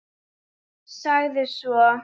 Sagði svo